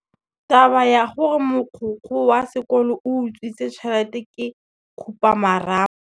Taba ya gore mogokgo wa sekolo o utswitse tšhelete ke khupamarama.